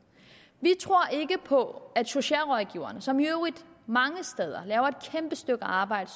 vi tror ikke på at socialrådgiverne som i øvrigt mange steder laver et kæmpe stykke arbejde